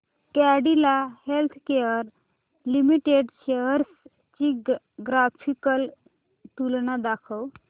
Cadila Healthcare limited shares ची graphical तुलना दाखव